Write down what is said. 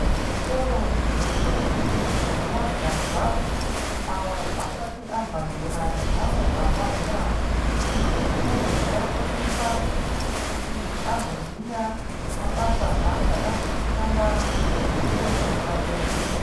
Zvikoro zvendombi nemajaha avo asati abva zera neamwe abva zera. Zvinosise kunge zveiafundisa kuti azoziya mabasa achada kuzoshanda ngeupenyu hwepadera.